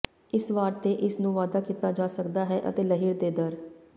ਇਸ ਵਾਰ ਤੇ ਇਸ ਨੂੰ ਵਾਧਾ ਕੀਤਾ ਜਾ ਸਕਦਾ ਹੈ ਅਤੇ ਲਹਿਰ ਦੇ ਦਰ